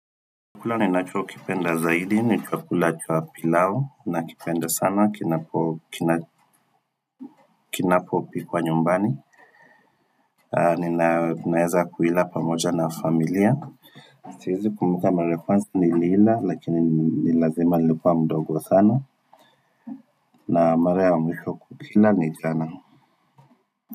Chakula ninachokipenda zaidi, ni chakula cha pilau, nakipenda sana, kinapopikwa nyumbani Ninaeza kuila pamoja na familia Siwezi kumbuka mara ya first niliila lakini ni lazima nilikua mdogo sana na mara mwisho kukila ni jana.